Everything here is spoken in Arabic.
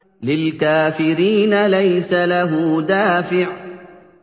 لِّلْكَافِرِينَ لَيْسَ لَهُ دَافِعٌ